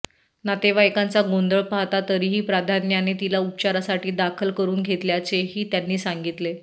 नातेवाइकांचा गोंधळ पाहता तरीही प्राधान्याने तिला उपचारासाठी दाखल करून घेतल्याचेही त्यांनी सांगितले